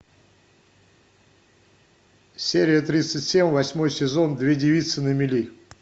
серия тридцать семь восьмой сезон две девицы на мели